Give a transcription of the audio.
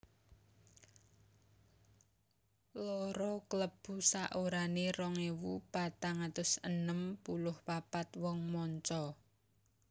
Loro Klebu saorané rong ewu patang atus enem puluh papat wong manca